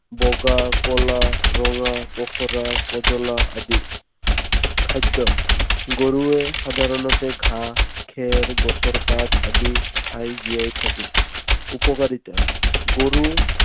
বগা, কলা, ৰঙা, পখৰা, কজলা আদি। খাদ্য। গৰুৱে সাধাৰণতে ঘাঁহ, খেৰ, গছৰ পাত আদি খাই জীয়াই থাকে। উপকাৰিতা। গৰু